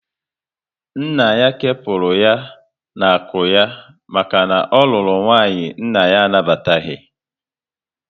Nna ya kewapụrụ ya n'akụ ya maka na ọ rụrụ nwanyị nna ya anabataghị